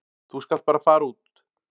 Þú skalt bara fara út.